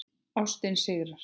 Ástin sigrar.